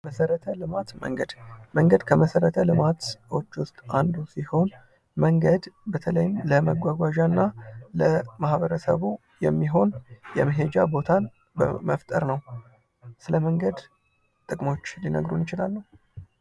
መሰረተ ልማት ፦ መንገድ ፦መንገድ ከመሰረተ ልማቶች ውስጥ አንዱ ሲሆን መንገድ በተለይም ለመጓጓዣ እና ለማህበረሰቡ የሚሆን የመሄጃ ቦታን መፍጠር ነው ። ስለ መንገድ ጥቅሞች ሊነግሩን ይችላሉ ?